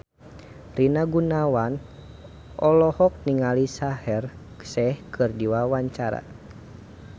Rina Gunawan olohok ningali Shaheer Sheikh keur diwawancara